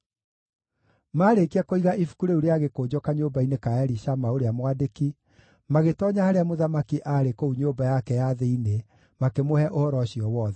Maarĩkia kũiga ibuku rĩu rĩa gĩkũnjo kanyũmba-inĩ ka Elishama, ũrĩa mwandĩki, magĩtoonya harĩa mũthamaki aarĩ kũu nyũmba yake ya thĩinĩ makĩmũhe ũhoro ũcio wothe.